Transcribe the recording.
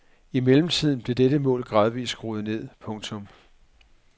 I mellemtiden blev dette mål gradvist skruet ned. punktum